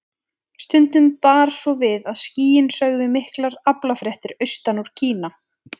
Stundum bar svo við að skýin sögðu miklar aflafréttir austan úr Kína.